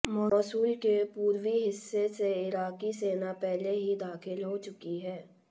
Mosul के पूर्वी हिस्से से इराकी सेना पहले ही दाखिल हो चुकी है